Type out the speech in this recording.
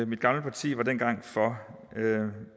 mit gamle parti var dengang for